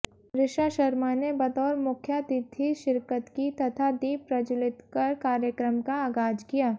ऋषा शर्मा ने बतौर मुख्यातिथि शिरकत की तथा दीप प्रज्वलित कर कार्यक्रम का आगाज किया